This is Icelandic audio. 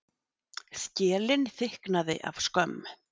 Skelin þykknaði af skömm.